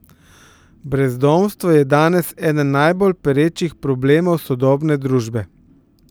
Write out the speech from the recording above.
Brezdomstvo je danes eden najbolj perečih problemov sodobne družbe.